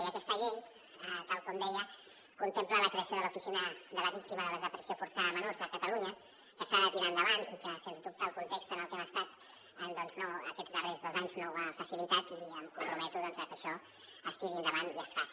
i aquesta llei tal com deia contempla la creació de l’oficina de la víctima de la desaparició forçada de menors a catalunya que s’ha de tirar endavant i que sens dubte el context en el que hem estat aquests darrers dos anys no ho ha facilitat i em comprometo a que això es tiri endavant i es faci